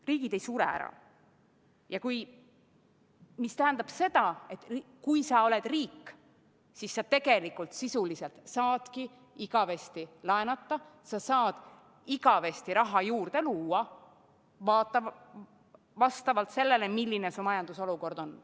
Riigid ei sure ära, mis tähendab seda, et kui sa oled riik, siis sa sisuliselt saadki igavesti laenata, sa saad igavesti raha juurde luua, vastavalt sellele, milline su majandusolukord on.